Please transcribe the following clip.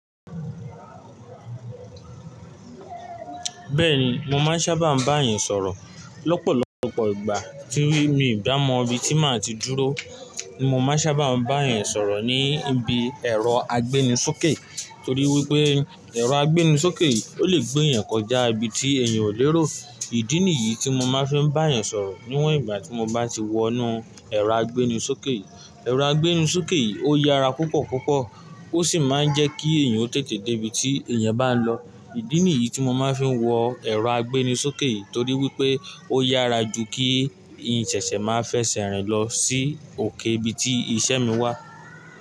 Bẹ́ẹ̀ni, mo máa ń sábà bá àyàn sọ̀rọ̀. Lọ́pọ̀lọpọ̀ ìgbà kí rí mi ò bá mọ ibi tí màá ti dúró, mo máa ń sábà bá àyàn sọ̀rọ̀ ní ibi ẹ̀rọ agbéni sókè torí wípé ẹ̀rọ agbéni sókè ó lè gbé èèyàn kọjá ibi tí èèyàn ò lérò. Ìdí nìyí tí mo máa ń fi bá àyàn sọ̀rọ̀ níwọ̀n ìgbà tí mo bá ti wọ inú ẹ̀rọ agbéni sókè. Ẹ̀rọ agbéni sókè ó yára púpọ̀púpọ̀ ó sì máa ń jẹ́ kí èèyàn ó tètè dé ibi tí èèyàn bá lọ. Ìdí nìyí tí mo máa ń fi wọ ẹ̀rọ agbéni sókè torí wípé ó yára ju kí iyìnsẹ̀se màá fẹsẹ̀ rìn lọ sí òkè ibi tí isẹ́ mi wà.